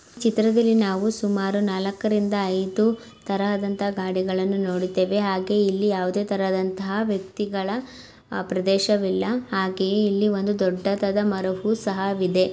ಚಿತ್ರದಲ್ಲಿ ನಾವು ಸುಮಾರು ನಾಲಕ್ಕರಿಂದ ಐದು ತರಹದಂತ ಗಾಡಿಗಳನ್ನು ನೋಡುತ್ತೇವೆ ಹಾಗೆ ಇಲ್ಲಿ ಯಾವದೇತರಹದಂತಹ ವ್ಯಕ್ತಿಗಳ ಪ್ರದೇಶವಿಲ್ಲ ಹಾಗೆ ಇಲ್ಲಿ ಒಂದು ದೊಡ್ಡದಾದ ಮರವು ಸಹವಿದೆ.